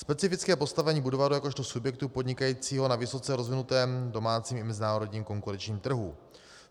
Specifické postavení Budvaru jakožto subjektu podnikajícího na vysoce rozvinutém domácím i mezinárodním konkurenčním trhu.